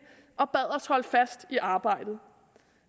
og bad os holde fast i arbejdet